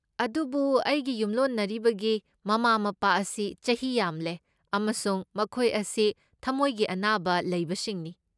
ꯑꯗꯨꯕꯨ ꯑꯩꯒꯤ ꯌꯨꯝꯂꯣꯟꯅꯔꯤꯕꯒꯤ ꯃꯃꯥ ꯃꯄꯥ ꯑꯁꯤ ꯆꯍꯤ ꯌꯥꯝꯂꯦ ꯑꯃꯁꯨꯡ ꯃꯈꯣꯏ ꯑꯁꯤ ꯊꯝꯃꯣꯏꯒꯤ ꯑꯅꯥꯕ ꯂꯩꯕꯁꯤꯡꯅꯤ꯫